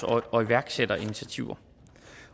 og iværksætterinitiativer